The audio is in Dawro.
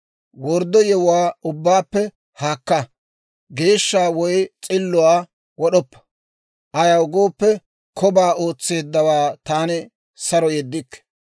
Worddo yewuwaa ubbaappe haakka; geeshsha woy s'illuwaa wod'oppa; ayaw gooppe, kobaa ootseeddawaa taani saro yeddikke.